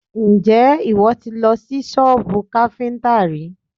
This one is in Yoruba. Ǹjẹ́ ìwọ ti lọ sí sọ́bù káfíntà rí?